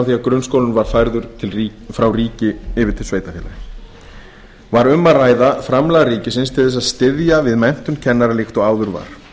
því að grunnskólinn var færður frá ríki yfir til sveitarfélaga var um að ræða framlag ríkisins til þess að styðja við menntun kennara líkt og áður var